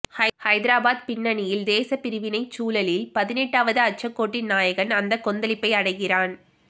ஹைதராபாத் பின்னணியில் தேசப்பிரிவினைச் சூழலில் பதினெட்டாவது அட்சக்கோட்டின் நாயகன் அந்த கொந்தளிப்பை அடைகிறான்